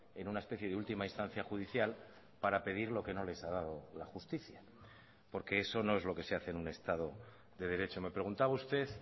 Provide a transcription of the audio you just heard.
en una especie de última instancia judicial para pedir lo que no les ha dado la justicia porque eso no es lo que se hace en un estado de derecho me preguntaba usted